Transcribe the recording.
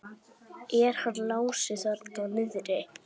Er hann Lási þarna niðri?